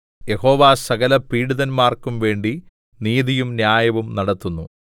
യഹോവ സകല പീഡിതന്മാർക്കും വേണ്ടി നീതിയും ന്യായവും നടത്തുന്നു